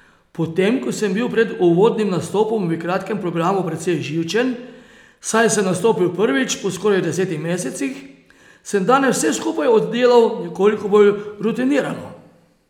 Potem ko sem bil pred uvodnim nastopom v kratkem programu precej živčen, saj sem nastopil prvič po skoraj desetih mesecih, sem danes vse skupaj oddelal nekoliko bolj rutinirano.